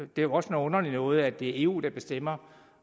det er også noget underligt noget at det er eu der bestemmer